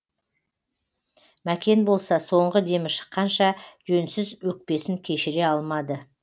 мәкен болса соңғы демі шыққанша жөнсіз өкпесін кешіре алмады